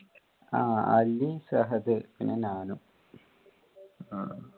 ആ അലി, സഹദ് പിന്നെ ഞാനും.